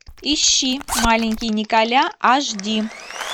ищи маленький николя аш ди